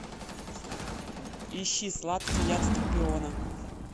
ищи сладкий яд скорпиона